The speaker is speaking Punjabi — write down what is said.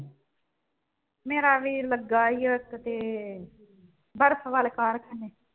ਮੇਰਾ ਵੀਰ ਲੱਗਾ ਈ ਉਹ ਇੱਕ ਤੇ ਬਰਫ਼ ਵਾਲੇ ਕਾਰਖ਼ਾਨੇ ਚ।